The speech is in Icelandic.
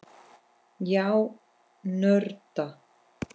Já, nörda.